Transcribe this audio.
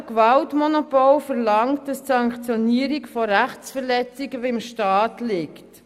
Das staatliche Gewaltmonopol verlangt, dass die Sanktionierung von Rechtsverletzungen beim Staat liegt.